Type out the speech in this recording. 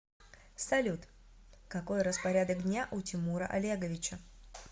салют какой распорядок дня у тимура олеговича